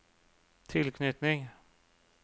tilknytning